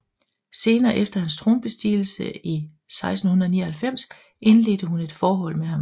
Senest efter hans tronbestigelse i 1699 indledte hun et forhold med ham